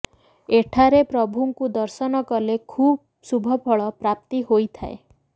ଏଠାରେ ପ୍ରଭୁଙ୍କୁ ଦର୍ଶନ କଲେ ଖୁବ ଶୁଭଫଳ ପ୍ରାପ୍ତି ହୋଇଥାଏ